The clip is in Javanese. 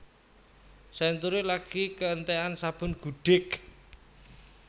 Century lagi keentekan sabun gudik